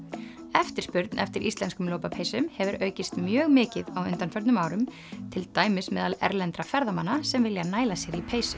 eftirspurn eftir íslenskum lopapeysum hefur aukist mjög mikið á undanförnum árum til dæmis meðal erlendra ferðamanna sem vilja næla sér í peysu